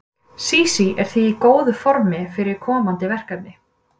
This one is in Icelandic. Sísí er því í góðu formi fyrir komandi verkefni.